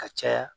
Ka caya